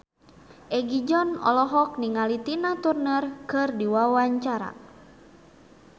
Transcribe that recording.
Egi John olohok ningali Tina Turner keur diwawancara